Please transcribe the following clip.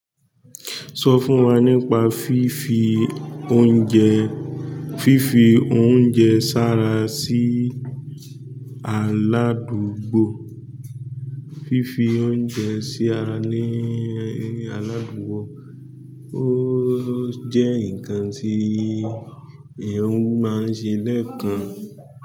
Sọ fún wa nípa fífi oúnjẹ, fífi oúnjẹ sára sí aládùúgbò, fífi oúnjẹ sí ara ní aládùúgbò ó jẹ́ ǹkan tí ìhun máa ń ṣe lẹ́kun.